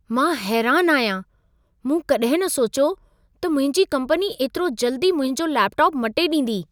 मां हैरानु आहियां! मूं कॾहिं न सोचियो त मुंहिंजी कंपनी एतिरो जल्दी मुंहिंजो लेपटॉप मटे ॾींदी।